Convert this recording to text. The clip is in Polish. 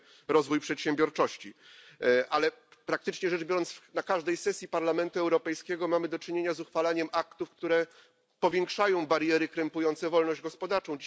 rozwój przedsiębiorczości, ale praktycznie rzecz biorąc na każdej sesji Parlamentu Europejskiego mamy do czynienia z uchwalaniem aktów, które powiększają bariery krępujące wolność gospodarczą.